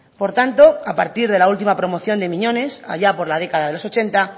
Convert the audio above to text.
por tanto a partir de la última promoción de miñones allá por la década de los ochenta